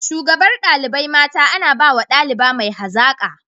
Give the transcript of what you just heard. Shugabar dalibai mata ana bawa daliba mai hazaka.